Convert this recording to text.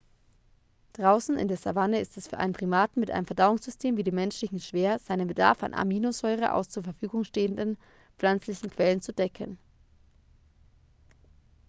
draußen in der savanne ist es für einen primaten mit einem verdauungssystem wie dem menschlichen schwer seinen bedarf an aminosäure aus zur verfügung stehenden pflanzlichen quellen zu decken